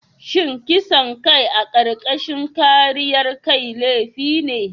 Shin kisan kai a karkashin kariyar kai laifi ne?